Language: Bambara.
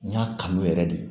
N y'a kanu yɛrɛ de